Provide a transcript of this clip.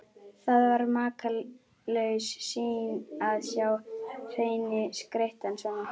Það var makalaus sýn að sjá hreininn skreyttan svona.